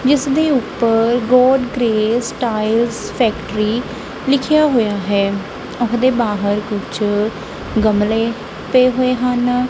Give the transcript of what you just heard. ਜਿੱਸ ਦੇ ਉਪਰ ਗੋਡ ਗਰੇਸ ਟਾਈਮਜ਼ ਫੈਕ੍ਟ੍ਰੀ ਲਿਖੇਆ ਹੋਇਆ ਹੈ। ਉਸਦੇ ਬਾਹਰ ਕੁਝ ਗਮਲੇ ਪਏ ਹੋਏ ਹਨ।